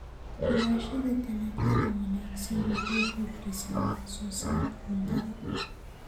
Xulashada dalagyada wanaagsan waxay kordhisaa wax soo saarka cuntada.